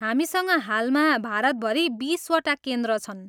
हामीसँग हालमा भारतभरि बिसवटा केन्द्र छन्।